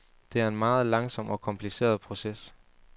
Det er en meget langsom og kompliceret proces.